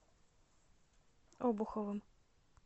обуховым